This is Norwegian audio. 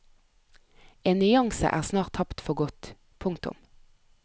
En nyanse er snart tapt for godt. punktum